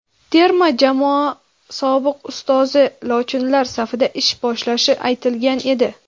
terma jamoa sobiq ustozi "lochinlar" safida ish boshlashi aytilgan edi.